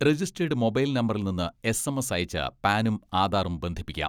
Registered mobile നമ്പറിൽ നിന്ന് SMS അയച്ച് പാനും ആധാറും ബന്ധിപ്പിക്കാം.